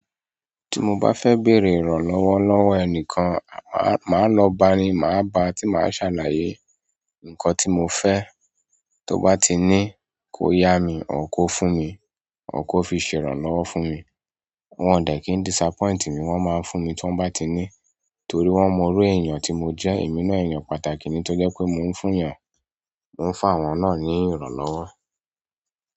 Tí mo bá fẹ́ bèrè ìrànlọ́wọ́ lọ́wọ́ ẹnikan, máa lọ bá'ni, màá bá a tí màá ṣàlàyé nǹkan tí mo fẹ́. Tó bá ti ní kó yá mi, or kó fún mi, or kó fi ṣe ìrànlọ́wọ́ fún mi. Wọn ò dẹ̀ kí n disappoint mi, wọ́n máa ń fún mi tí wọ́n bá ti ní torí wọ́n mọnirú èèyàn tí mo jẹ́, èmi náà èèyàn pàtàkì ni tọ́ jẹ́ pé mò ń fún yàn, mò ń fún àwọn náà ní ìrànlọ́wọ́.